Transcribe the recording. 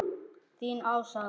Þín Ása.